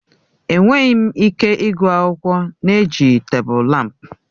Enweghị m ike ịgụ akwụkwọ na-ejighị tebụl lámpu.